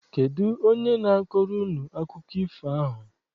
Kedụ onye na-akọrọ unu akụkọ ifo ahụ?